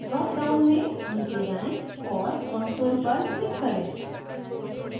dropdown में नीचे जाएँ और console पर click करें